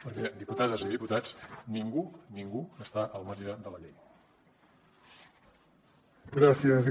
perquè diputades i diputats ningú ningú està al marge de la llei